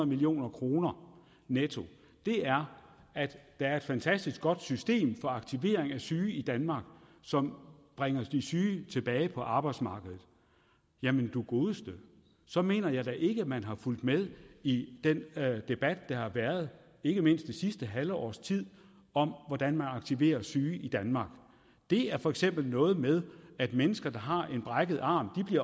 million kroner netto er at der er et fantastisk godt system for aktivering af syge i danmark som bringer de syge tilbage på arbejdsmarkedet jamen du godeste så mener jeg da ikke man har fulgt med i den debat der har været ikke mindst det sidste halve års tid om hvordan de aktiverer syge i danmark det er for eksempel noget med at mennesker der har en brækket arm